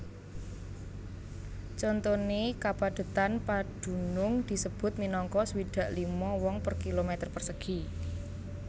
Contoné kapadhetan padunung disebut minangka swidak lima wong per kilometer persegi